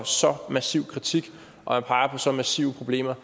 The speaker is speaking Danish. massiv kritik og peges på så massive problemer